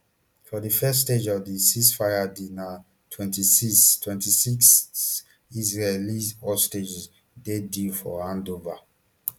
for di first phase of di ceasefire deal na twenty-six twenty-six israeli hostages dey due for hand ova